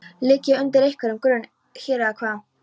Ligg ég undir einhverjum grun hér, eða hvað?